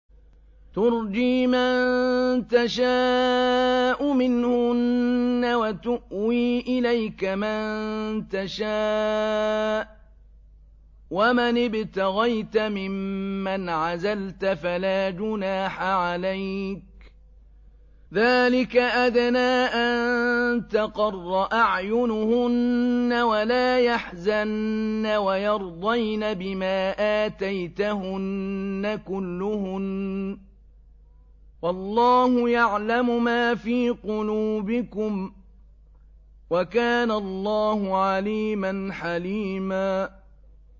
۞ تُرْجِي مَن تَشَاءُ مِنْهُنَّ وَتُؤْوِي إِلَيْكَ مَن تَشَاءُ ۖ وَمَنِ ابْتَغَيْتَ مِمَّنْ عَزَلْتَ فَلَا جُنَاحَ عَلَيْكَ ۚ ذَٰلِكَ أَدْنَىٰ أَن تَقَرَّ أَعْيُنُهُنَّ وَلَا يَحْزَنَّ وَيَرْضَيْنَ بِمَا آتَيْتَهُنَّ كُلُّهُنَّ ۚ وَاللَّهُ يَعْلَمُ مَا فِي قُلُوبِكُمْ ۚ وَكَانَ اللَّهُ عَلِيمًا حَلِيمًا